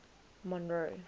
monroe